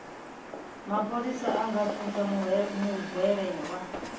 mapholisa a nga thuntsha muhwelelwa